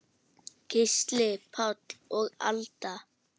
Gísli Páll og Alda.